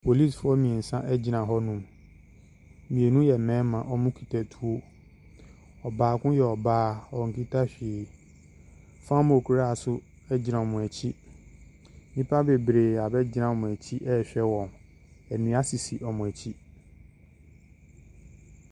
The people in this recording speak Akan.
Policefoɔ mmiɛnsaa gyina hɔnom. Mmienu yɛ mmarima, wɔn kita tuo. Ɔbaako yɛ ɔbaa; onkita hwee. Famokora nso gyina wɔn akyi. Nnipa bebree abegyina wɔn akyi rehwɛ wɔn. Nnua sisi wɔn akyi.